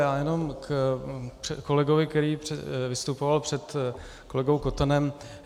Já jenom ke kolegovi, který vystupoval před kolegou Kotenem.